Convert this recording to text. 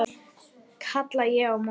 kalla ég á móti.